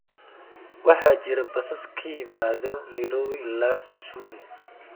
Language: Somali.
waxaa jira basas ka yimaada nairobi ilaa kisumu